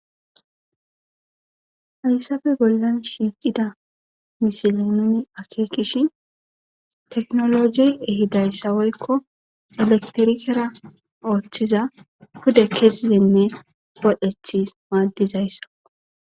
Hayssappe bollan shiiqida misile nuni akekishin tekinolojey ehidayssa woykko elekitirikera ooththiza pude kessinne wodhethi maaddizaysako.